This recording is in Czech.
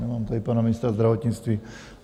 Nemám tady pana ministra zdravotnictví.